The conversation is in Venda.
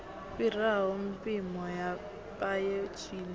fhiraho mpimo ya paye zwine